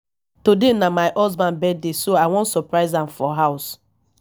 today na my husband birthday so i wan surprise am for house